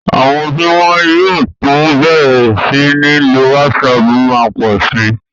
Àwọn tí wọ́n yóò tún bẹ̀rẹ̀ sí ní lo WhatsApp má pọ̀ sí.